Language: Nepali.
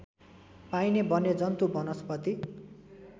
पाइने वन्यजन्तु वनस्पति